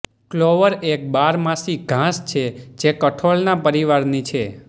Clover એક બારમાસી ઘાસ છે જે કઠોળના પરિવારની છે